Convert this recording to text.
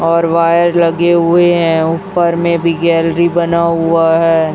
और वायर लगे हुए हैं ऊपर में भी गैलरी बना हुआ है।